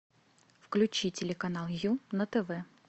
включи телеканал ю на тв